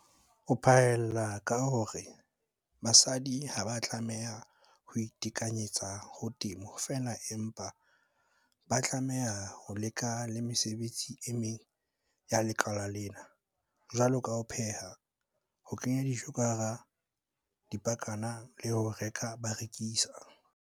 O phaella ka hore basadi ha ba a tlameha ho itekanyetsa ho temo fela empa ba tlameha ho leka le mesebetsi e meng ya lekala lena, jwalo ka ho pheha, ho kenya dijo ka hara dipakana le ho reka ba rekisa.